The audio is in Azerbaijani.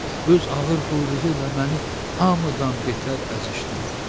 Öz ağır quyruğu ilə məni hamıdan betər əzişdirdi.